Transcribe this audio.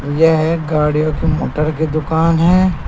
यह गाड़ियों की मोटर की दुकान है।